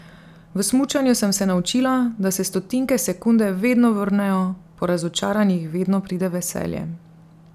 V smučanju sem se naučila, da se stotinke sekunde vedno vrnejo, po razočaranjih vedno pride veselje.